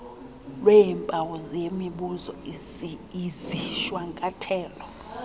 lweempawu yemibuzo izishwankathelo